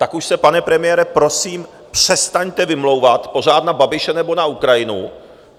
Tak už se, pane premiére, prosím přestaňte vymlouvat pořád na Babiše nebo na Ukrajinu.